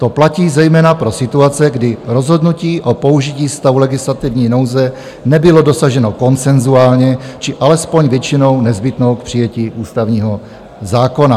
To platí zejména pro situace, kdy rozhodnutí o použití stavu legislativní nouze nebylo dosaženo konsenzuálně či alespoň většinou nezbytnou k přijetí ústavního zákona.